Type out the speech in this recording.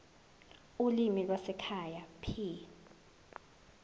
ulimi lwasekhaya p